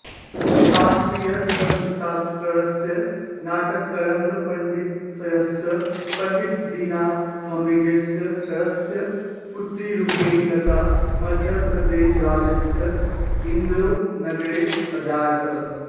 शास्त्रीयसङ्गीतकारस्य नाटकरङ्गपण्डितस्यस् पण्डितदीननाथमङ्गेशकरस्य पुत्रीरूपेण लता मध्यप्रदेशराज्यस्य इन्दोरनगरे अजायत